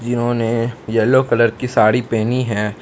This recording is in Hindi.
जिन्होंने येलो कलर की साड़ी पहनी है।